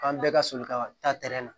An bɛɛ ka soli ka taa na